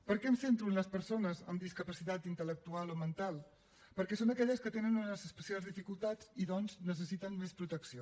per què em centro en les persones amb discapacitat intel·lectual o mental perquè són aquelles que tenen unes especials dificultats i doncs necessiten més protecció